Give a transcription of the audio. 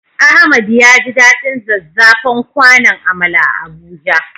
Ahmad yaji daɗin zazzafan kwanon amala a Abuja.